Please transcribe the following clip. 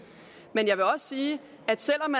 men jeg vil også sige at selv om